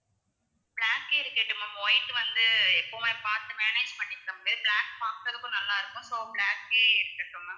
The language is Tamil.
black ஏ இருக்கட்டும் ma'am white வந்து எப்பவுமே பாத்து manage பண்ணிக்க முடியாது black பாக்குறதுக்கும் நல்லா இருக்கும் so black ஏ இருக்கட்டும் ma'am